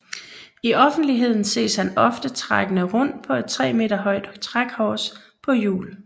I offentligheden ses han ofte trækkende rundt på et tre meter højt trækors på hjul